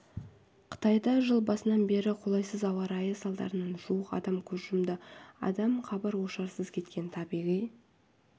қытайда жыл басынан бері қолайсыз ауа райы салдарынан жуық адам көз жұмды адам хабар-ошарсыз кеткен табиғи